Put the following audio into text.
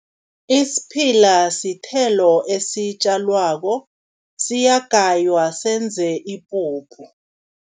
Isiphila sithelo esitjalwako, siyagaywa senze ipuphu.